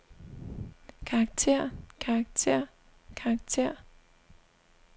karakter karakter karakter